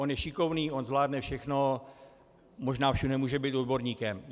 On je šikovný, on zvládne všechno, možná všude může být odborníkem.